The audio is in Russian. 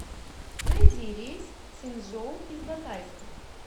найди рейс в цзинчжоу из батайска